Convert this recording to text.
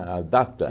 A data?